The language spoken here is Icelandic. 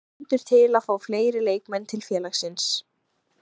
Stendur til að fá fleiri leikmenn til félagsins?